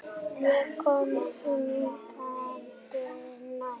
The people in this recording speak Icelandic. Ég kom hikandi nær.